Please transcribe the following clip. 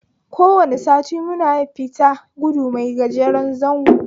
Kowane sati muna fita gudu mai gajeren zango